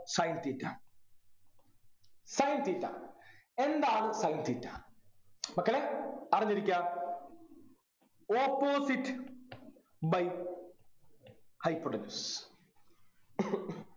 sin theta sin theta എന്താണ് sin theta മക്കളെ അറിഞ്ഞിരിക്കാ Opposite by hypotenuse